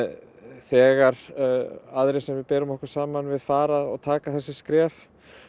þegar aðrir sem við berum okkur saman við fara og taka þessi skref